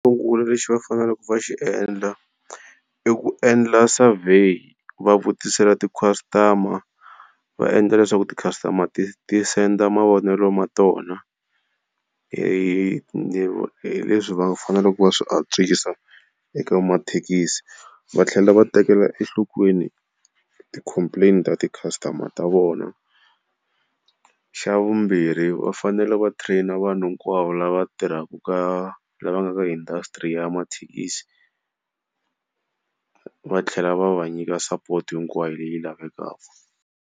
Xo sungula lexi va faneleke va xi endla i ku endla survey va vutisela ti-costumer va endla leswaku ti-customer ti senda mavonelo ma tona hi leswi va faneleke va swi antswisa eka mathekisi. Va tlhela va tekela enhlokweni ti complain-i ta ti-customer ta vona. Xa vumbirhi va fanele va train-a vanhu hinkwavo lava tirhaku ka lava nga ka industry ya mathekisi, va tlhela va va nyika sapoto hinkwayo leyi lavekaka.